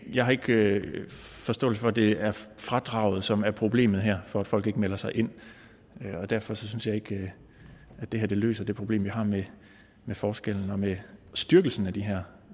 jeg har ikke forståelse for at det er fradraget som er problemet her for at folk ikke melder sig ind derfor synes jeg ikke at det her løser det problem vi har med forskellen og med styrkelsen af de her